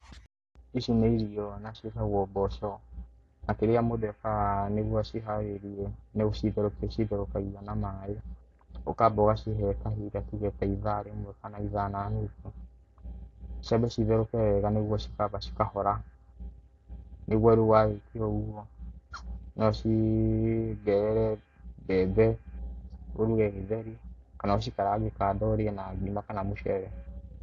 Ĩci nĩ irio na cĩetagwo mboco, na kĩria mũndũ ekaga nĩguo aciharĩrĩe nĩ gũcitherũkia acitherũkagia na maĩ, ũkamba ũgacihe kahinda tuge ta ithaa rĩmwe kana itha na nuthu, ciambe cĩtherũke wega, nĩguo cikamba cikahora, nĩguo riu warĩkia ũgũo no ũciongerere mbembe ũruge gĩtheri, kana ũcikarange kando ũrĩanĩrie na mũcere kana ngima.